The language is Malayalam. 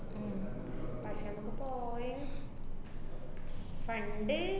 ഉം പക്ഷെ മ്മക്ക് പോയി fund